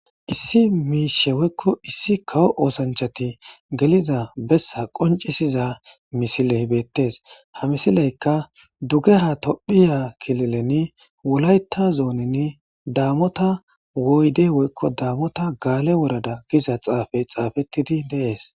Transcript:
Issi miishe woykko issi kawo oosanchati geliza bessa qonccisiza misiley beettes. Ha misileykka duge ha tophiya kilileni wolayta zooninn daamota woyde woykko daamota gaale worada giza xaafey xaafettidi de'ees.